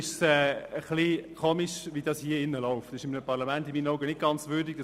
Das ist in meinen Augen eines Parlaments nicht ganz würdig.